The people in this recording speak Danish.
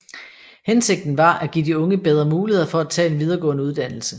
Hensigten var at give de unge bedre muligheder for at tage en videregående uddannelse